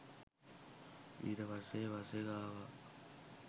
ඊට පස්සේ බස් එක ආව